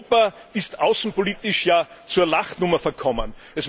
Europa ist außenpolitisch ja zur Lachnummer verkommen.